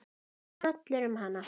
Það fór hrollur um hana.